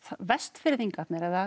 Vestfirðingarnir eða